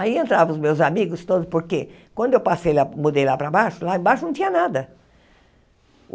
Aí entrava os meus amigos todos, porque quando eu passei lá, mudei lá para baixo, lá embaixo não tinha nada.